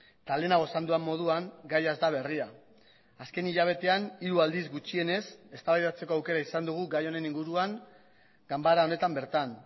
eta lehenago esan dudan moduan gaia ez da berria azken hilabetean hiru aldiz gutxienez eztabaidatzeko aukera izan dugu gai honen inguruan ganbara honetan bertan